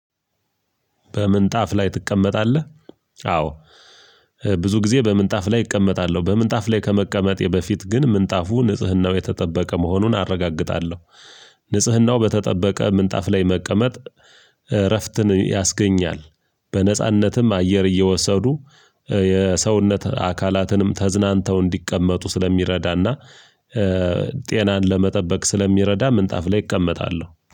በምንጣፍ ላይ ትቀመጣለህ? አዎ። ብዙ ጊዜ በምንጣፍ ላይ እቀመጣለሁ በምንጣፍ ላይ ከመቀመጤ በፊት ግን ምንጣፉ ንጽህናው የተጠበቀ መሆኑን አረጋግጣለሁ። ንጽህናው በተጠበቀ ምንጣፍ ላይ መቀመጥ እረፍትን ያስገኛል። በነጻነትም አየር እየወሰዱ የሰውነት አካላትንም ተዝናንተው እንዲቀመጡ ስለሚረዳና ጤናን ለመጠበቅ ስለሚረዳ ምንጣፍ ላይ እቀመጣለሁ